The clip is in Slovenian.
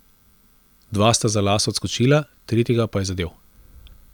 Dva sta za las odskočila, tretjega pa je zadel.